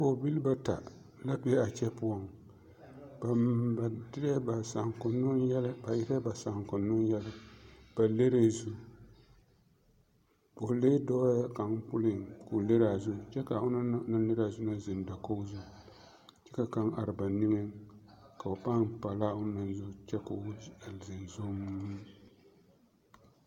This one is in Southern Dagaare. pɔgbilii bata la be a kyɛ ba derɛ ba saŋkonoo yɛllɛ ba leŋne zu pɔgelee doo kang puleŋ ka ba leŋne a zu kyɛ ka o naŋ leŋne a zu ziŋ dakɔge zu ka kang are ba niŋe ka ba paŋ paŋla a onaŋ zu kyɛ ka o ziŋ zuŋmo.